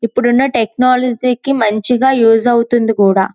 ఇప్పుడున్న టెక్నాలజీకి మంచిగా యూస్ అవుతుంది కూడా.